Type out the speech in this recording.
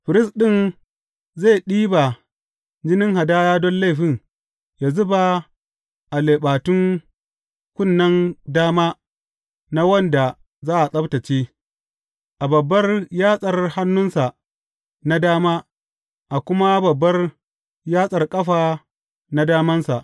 Firist ɗin zai ɗiba jinin hadaya don laifin ya zuba a leɓatun kunnen dama na wanda za a tsabtacce, a babbar yatsar hannunsa na dama a kuma a babbar yatsar ƙafa damansa.